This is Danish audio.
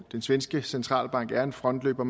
svenske centralbank er en frontløber